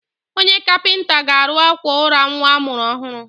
Onye kapịnta ga-arụ àkwà ụra nwa a mụrụ ọhụrụ.